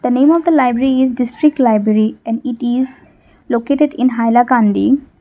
the name of the library is district library and it is located in hailakandi.